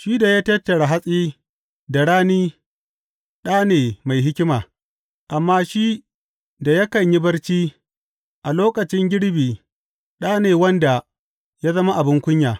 Shi da ya tattara hatsi da rani ɗa ne mai hikima, amma shi da yakan yi barci a lokacin girbi ɗa ne wanda ya zama abin kunya.